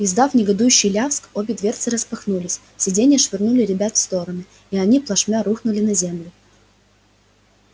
издав негодующий лязг обе дверцы распахнулись сиденья швырнули ребят в стороны и они плашмя рухнули на землю